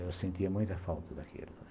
Eu sentia muita falta daquilo.